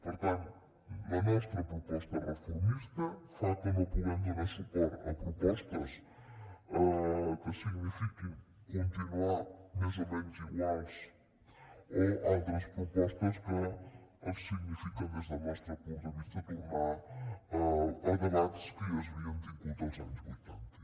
per tant la nostra proposta reformista fa que no puguem donar suport a propostes que signifiquin continuar més o menys iguals o a altres propostes que doncs signifiquen des del nostre punt de vista tornar a debats que ja s’havien tingut els anys vuitanta